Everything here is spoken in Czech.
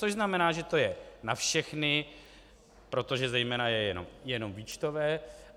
Což znamená, že to je na všechny, protože zejména je jenom výčtové.